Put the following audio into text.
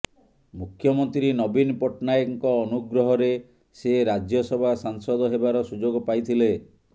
ମୁଖ୍ୟମନ୍ତ୍ରୀ ନବୀନ ପଟ୍ଟନାୟକଙ୍କ ଅନୁଗ୍ରହରେ ସେ ରାଜ୍ୟସଭା ସାଂସଦ ହେବାର ସୁଯୋଗ ପାଇଥିଲେ